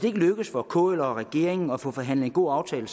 ikke lykkes for kl og regeringen at få forhandlet en god aftale